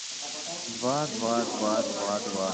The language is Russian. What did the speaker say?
два два два два два